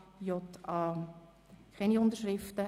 Es gibt keine Unterschriften.